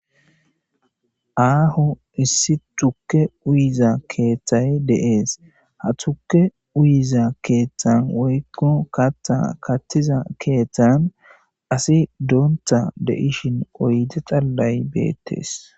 aaho issi tukke uyiza keeththay deees ha tukke uyiza keeththan woykko katta kattiza keeththan asi doonta de7ishin oyde xallay beettees